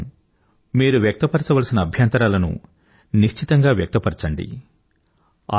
ఇందుకోసం మీరు వ్యక్తపరచవలసిన అభ్యంతరాలను నిశ్చితంగా వ్యక్తపరచండి